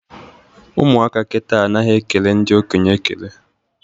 Ụmụaka kịta anaghị ekele ndị okenye ekele